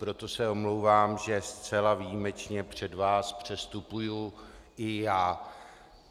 Proto se omlouvám, že zcela výjimečně před vás předstupuji i já.